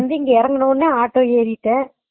வந்து இரங்கன உடனே auto ஏறிட்டே